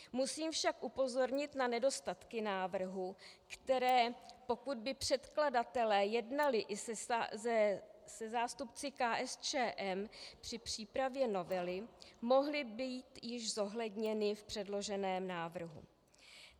Musím však upozornit na nedostatky návrhu, které, pokud by předkladatelé jednali i se zástupci KSČM, při přípravě novely mohly být již zohledněny v předloženém návrhu.